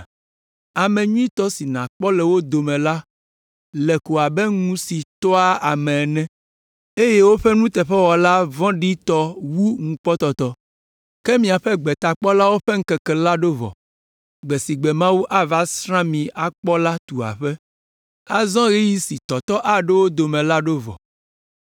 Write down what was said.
Ame nyuitɔ si nàkpɔ le wo dome la le ko abe ŋu si tɔa ame ene eye woƒe nuteƒewɔla vɔ̃ɖi wu ŋukpɔtɔtɔ. Ke miaƒe gbetakpɔlawo ƒe ŋkeke la ɖo vɔ. Gbe si gbe Mawu ava asrã mi kpɔ la tu aƒe. Azɔ ɣeyiɣi si tɔtɔ aɖo wo dome la ɖo vɔ.